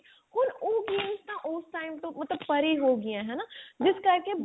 ਹੁਣ ਉਹ games ਤਾਂ ਉਸ time ਤੋਂ ਪਰੇ ਹੋ ਗਿਆਂ ਹਨਾ ਜਿਸ ਕਰਕੇ body